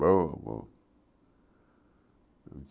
Boa, boa.